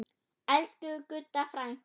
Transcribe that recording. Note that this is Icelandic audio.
Elsku Gudda frænka.